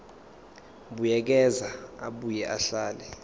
buyekeza abuye ahlele